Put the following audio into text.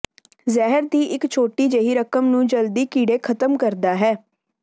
ਜ਼ਹਿਰ ਦੀ ਇੱਕ ਛੋਟੀ ਜਿਹੀ ਰਕਮ ਨੂੰ ਜਲਦੀ ਕੀੜੇ ਖਤਮ ਕਰਦਾ ਹੈ